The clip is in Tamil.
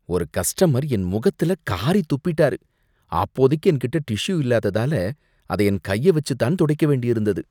ஒரு கஸ்டமர் என் முகத்துல காறி துப்பிட்டாரு. அப்போதைக்கு என்கிட்ட டிஷ்யூ இல்லாததால அத என் கைய வச்சு தான் துடைக்க வேண்டியிருந்தது.